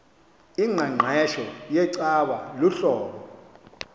ingqeqesho yecawa luhlobo